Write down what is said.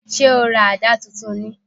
Ṣé o ra àdá tuntun ni?